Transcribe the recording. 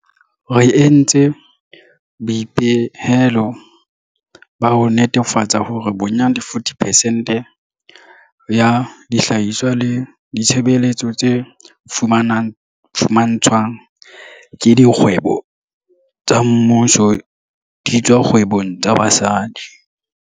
Re entse boipehelo ba ho netefatsa hore bonyane 40 percent ya dihlahiswa le ditshebeletso tse fumantshwang ke dikgwebo tsa mmuso di tswa dikgwebong tsa basadi.